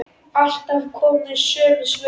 Alltaf komu sömu svör.